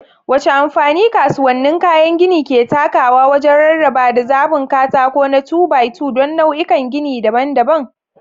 Wace amfani kasuwannin kayan gini ke takawa wajen rarrabawa da zaɓin katako na 2-by-2 don nau'ikan gini daban-daban?